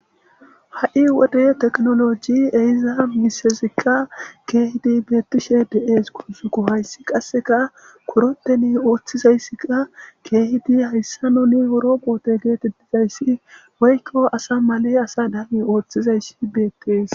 ha7i wode tekinoloji eyiza misezikka keehidi beettishe de7es guuzuko hayssi qasseka koroteni ooththizayssikka keehidi hayssa noni roboote geetedizayssi woykko asa male asa daani ooththizayssi beettees